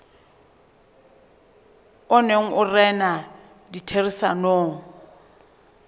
o neng o rena ditherisanong